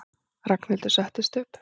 Ragnhildur settist upp.